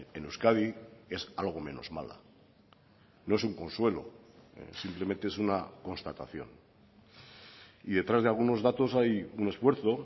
en euskadi es algo menos mala no es un consuelo simplemente es una constatación y detrás de algunos datos hay un esfuerzo